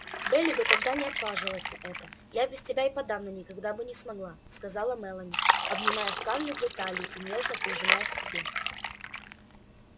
бели бы ты не отважилась на это я без тебя и подавно никогда бы не смогла сказала мелани обнимая скарлетт за талию и нежно прижимая к себе